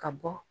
Ka bɔ